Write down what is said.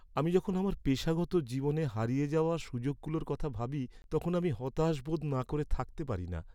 আমি যখন আমার পেশাগত জীবনে হারিয়ে যাওয়া সুযোগগুলোর কথা ভাবি তখন আমি হতাশ বোধ না করে থাকতে পারি না।